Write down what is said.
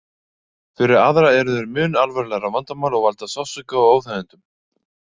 Fyrir aðra eru þeir mun alvarlegra vandamál og valda sársauka og óþægindum.